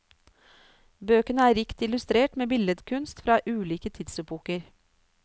Bøkene er rikt illustrert med bildekunst fra ulike tidsepoker.